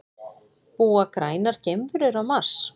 Búa grænar geimverur á Mars?